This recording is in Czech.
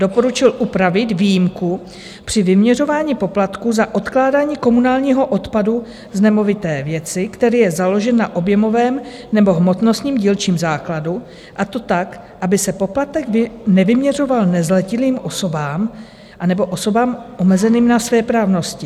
Doporučil upravit výjimku při vyměřování poplatků za odkládání komunálního odpadu z nemovité věci, který je založen na objemovém nebo hmotnostním dílčím základu, a to tak, aby se poplatek nevyměřoval nezletilým osobám anebo osobám omezeným na svéprávnosti.